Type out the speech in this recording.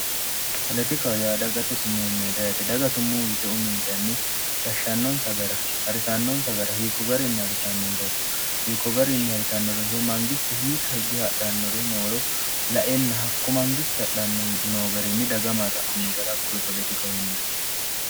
koletika yaada gate summuu meete ate daga summuhu yite umiinsanni gashshannonsa gara harisannoonsa gara hiikko garinni harisanno njaro hiikko garinni harisannoronso mangisti hiika higge hadhannoro nooro laelna hakko mangisti hadhanno noo gariinni daga marra anno garakkowe koletika huyine